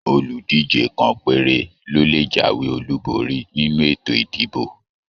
Oludije kàn péré ló lè jáwé Olu borí nínú ètò ìdìbò.